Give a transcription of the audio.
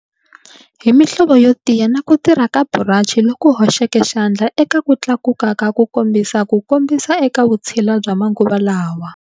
Hi mihlovo yo tiya na ku tirha ka burachi loku hoxeke xandla eka ku tlakuka ka ku kombisa ku kombisa eka vutshila bya manguva lawa.